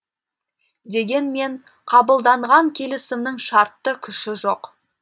дегенмен қабылданған келісімнің шартты күші жоқ